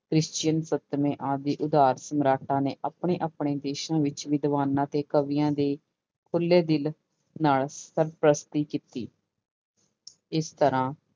Christian ਸੰਤਵੇਂ ਆਦਿ ਉਧਾਰ ਸਮਰਾਟਾਂ ਨੇ ਆਪਣੇ ਆਪਣੇ ਦੇਸਾਂ ਵਿੱਚ ਵਿਦਵਾਨਾਂ ਤੇ ਕਵੀਆਂ ਦੇ ਖੁੱਲੇ ਦਿਲ ਨਾਲ ਸਰਪ੍ਰਸਤੀ ਕੀਤੀ ਇਸ ਤਰ੍ਹਾਂ